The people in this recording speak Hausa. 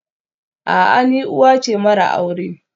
A'a, ni uwa ce mara aure